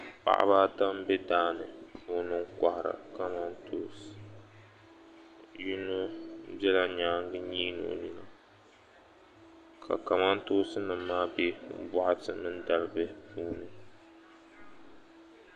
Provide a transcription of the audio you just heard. Paɣiba m-be daa puuni n-kɔhiri kamantoosi. Yino bela nyaaŋga n-nyiini o nyina ka kamantoosi maa be bɔɣiti mini dalibihi puuni.